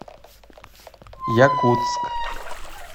якутск